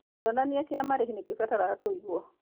Kĩonania kĩa marĩhi nĩ kĩbataraga kũigwo.